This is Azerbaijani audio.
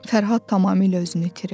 Fərhad tamamilə özünü itirirdi.